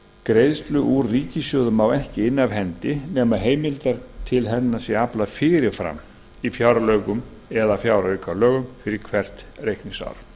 greiðslu úr ríkissjóði má ekki inna af hendi nema heimildar hennar sé aflað fyrir fram í fjárlögum eða fjáraukalögum fyrir hvert reikningsár